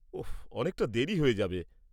-ওহ অনেকটা দেরী হয়ে যাবে।